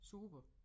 Super